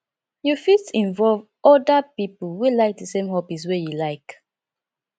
you fit involve oda pipo wey like di same hobbies wey you like